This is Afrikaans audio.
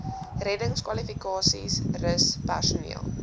reddingskwalifikasies rus personeel